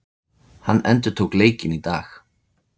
Hann endurtók leikinn í dag